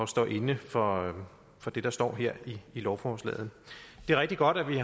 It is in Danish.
står inde for for det der står i lovforslaget det er rigtig godt at vi